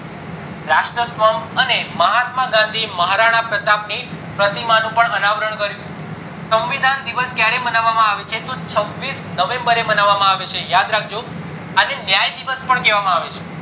રાષ્ટ્ર સ્તંભ અને મહાત્મા ગાંધી મહારાણા પ્રતાપ ની કર્યું સંવિધાન દિવસ ક્યારે માનવામાં આવે છે તો છવીસ november એ માનવામાં આવે છે યાદ રાખજો આને ન્યાય દિવસ પણ કહેવામાં આવે છે